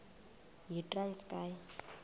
yitranskayi